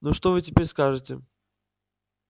ну что вы теперь скажете